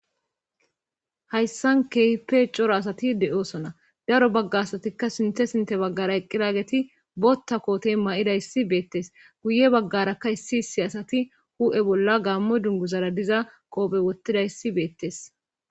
hayssan keype coro asati de7osona daro bagga asatikka sinthe sinte baggara eqqiraageti botta kootey ma7ida issi beettes guye baggarakka issi issi asati hu7e bolla gaammo dungu zara diza qoophe wottida issi beettes